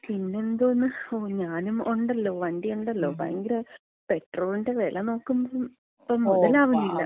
പിന്നെന്തോന്ന്? ഞാനും ഉണ്ടല്ലോ വണ്ടി ഉണ്ടല്ലോ, ഭയങ്കര പെട്രോളിന്‍റെ വില നോക്കുമ്പോ ഇപ്പം മുതലാവുന്നില്ല.